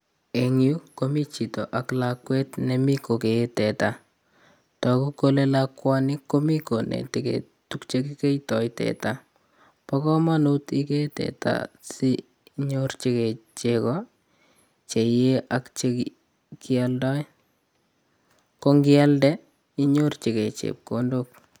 En yu komiten chito ak lakwet nemi kogee tetaa. Toguu kole lakwani komi konetigei tuguuk che kikeitoi teta. Bo komonut igee teta si inyorchigei chegoo che iyee ak chekioldoo ko indialdee inyorchinigei chepkondok